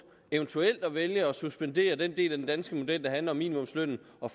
eventuelt vælge at suspendere den del af den danske model der handler om minimumslønnen og